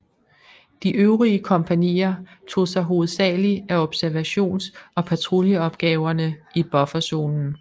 De øvrige kompagnier tog sig hovedsagligt af observations og patruljeopgaverne i bufferzonen